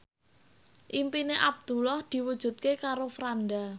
impine Abdullah diwujudke karo Franda